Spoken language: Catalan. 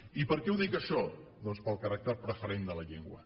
i per què ho dic això doncs pel caràcter preferent de la llengua